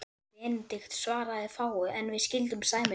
Benedikt svaraði fáu, en við skildum sæmilega.